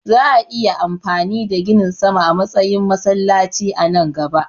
Za'a iya amfani da ginin sama a matsayin masallaci a nan gaba.